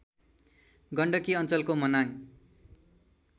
गण्डकी अञ्चलको मनाङ